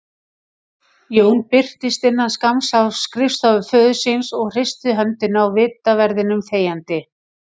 Jón birtist innan skamms á skrifstofu föður síns og hristi höndina á vitaverðinum þegjandi.